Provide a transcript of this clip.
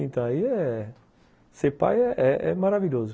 Então, aí é... ser pai é maravilhoso.